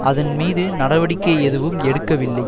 அதன் மீது நடவடிக்கை எதுவும் எடுக்கவில்லை